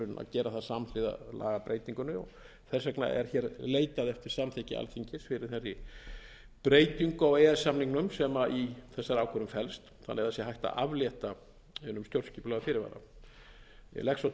gera það samhliða lagabreytingunni og þess vegna er leitað eftir samþykki alþingis fyrir þessari breytingu á e e s samningnum sem í þessari ákvörðun felst þannig að það sé hægt að aflétta hinum stjórnskipulega fyrirvara ég legg svo